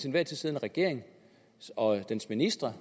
enhver tid siddende regering og dens ministre